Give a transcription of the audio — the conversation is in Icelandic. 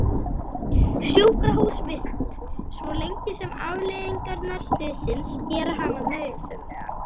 Sjúkrahúsvist svo lengi sem afleiðingar slyssins gera hana nauðsynlega.